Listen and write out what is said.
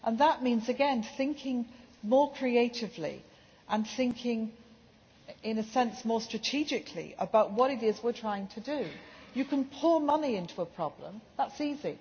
That means thinking more creatively and, in a sense, more strategically, about what it is we are trying to do. You can pour money into a problem. That is easy.